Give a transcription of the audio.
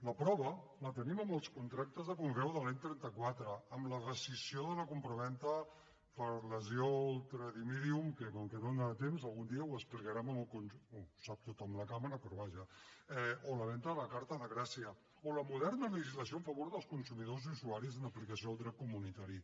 la prova la tenim en els contractes de conreu de l’any trenta quatre en la rescissió de la compravenda per lesió ultra dimidium que com que no em dóna temps algun dia ho explicarem ho sap tothom de la cambra però vaja o la venda a carta de gràcia o la moderna legislació en favor dels consumidors i usuaris en aplicació del dret comunitari